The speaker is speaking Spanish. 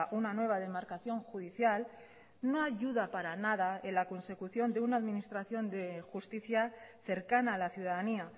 una nueva demarcación judicial no ayuda para nada en la consecución de una administración de justicia cercana a la ciudadanía